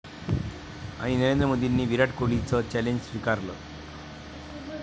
...आणि नरेंद्र मोदींनी विराट कोहलीचं चॅलेंज स्वीकारलं!